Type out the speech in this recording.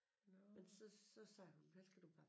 Men så sagde hun vel kan du bare